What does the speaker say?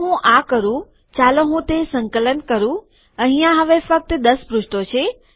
જો હું આ કરુંચાલો હું તે સંકલન કરું અહિયાં હવે ફક્ત ૧૦ પૃષ્ઠો છે